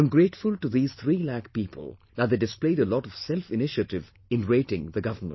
I am grateful to these 3 lakh people that they displayed a lot of self initiative in rating the government